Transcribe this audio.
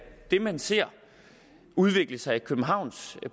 det man ser udvikle sig i københavns